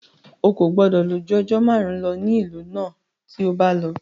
Ó kò gbọdọ̀ lò ju ọjọ́ márùn-ún lọ ní ìlú náà tí o bá lọ.